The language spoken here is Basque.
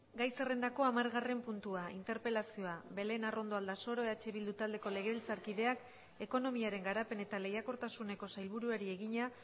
gai zerrendako hamargarren puntua interpelazioa belén arrondo aldasoro eh bildu taldeko legebiltzarkideak ekonomiaren garapen eta lehiakortasuneko sailburuari egina